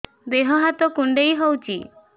ଦେହ ହାତ କୁଣ୍ଡାଇ ହଉଛି